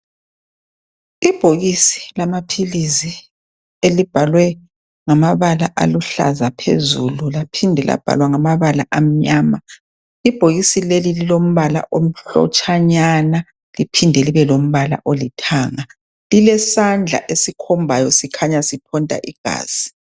Ibhokisi lamaphilizi elibhalwe ngamabala aluhlaza phezulu laphinde labhalwa ngamabala amnyama, ibhokisi lelo lilombala omhlotshanyana liphinde libe lombala olithanga. Lilesandla esikhombayo sikhanya siqonda ibhasi.